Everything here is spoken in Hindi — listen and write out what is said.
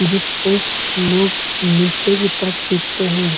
जिसको लोग नीचे की तरफ खींचते हैं।